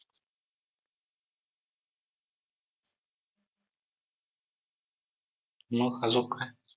मग अजून काय?